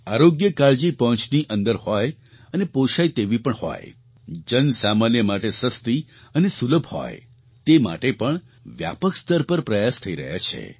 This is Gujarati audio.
આરોગ્ય કાળજી પહોંચની અંદર હોય અને પોષાય તેવી પણ હોય જન સામાન્ય માટે સસ્તી અને સુલભ હોય તે માટે પણ વ્યાપક સ્તર પર પ્રયાસ થઈ રહ્યા છે